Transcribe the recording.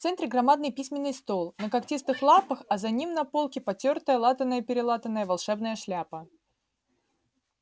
в центре громадный письменный стол на когтистых лапах а за ним на полке потёртая латаная-перелатаная волшебная шляпа